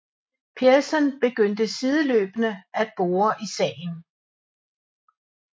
Pearson begynder sideløbende at bore i sagen